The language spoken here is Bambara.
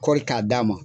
Kɔri k'a d'a ma